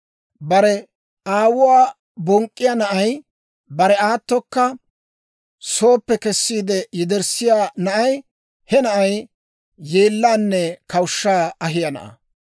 Bare aawuwaa bonk'k'iyaa na'ay, bare aatokka sooppe kessiide yederssiyaa na'ay, he na'ay yeellaanne kawushshaa ahiyaa na'aa.